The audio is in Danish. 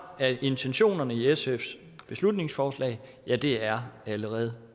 af intentionerne i sfs beslutningsforslag er allerede